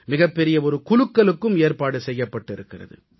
மிகப்பெரிய குலுக்கலுக்கும் ஏற்பாடு செய்யப்பட்டிருக்கிறது